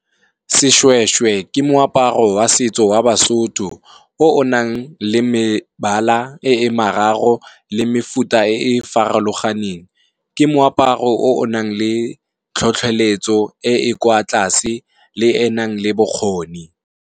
Seshweshwe ke moaparo wa setso wa Basotho, o o nang le mebala e e mararo le mefuta e e farologaneng. Ke moaparo o o nang le tlhotlheletso e e kwa tlase le enang le bokgoni.